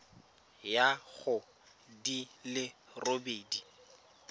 ya go di le robedi